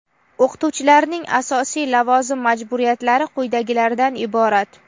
O‘qituvchilarning asosiy lavozim majburiyatlari quyidagilardan iborat:.